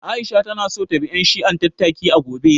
Aisha ta na so ta bi ƴan shi'an tattaki, a gobe